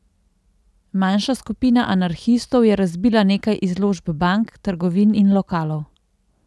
Manjša skupina anarhistov je razbila nekaj izložb bank, trgovin in lokalov.